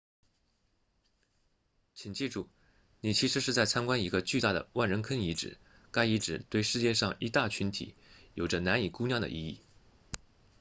请记住你其实是在参观一个巨大的万人坑遗址该遗址对世界上一大群体有着难以估量的意义